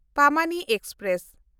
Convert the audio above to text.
Pamani express